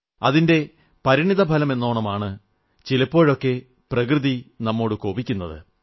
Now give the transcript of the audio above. അതിന്റെ പരിണിത ഫലമെന്നോണമാണ് ചിലപ്പോഴൊക്കെ പ്രകൃതി നമ്മോട് കോപിക്കുന്നത്